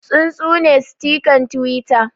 Tsuntsune sitikan Twitter